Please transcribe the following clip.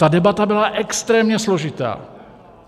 Ta debata byla extrémně složitá.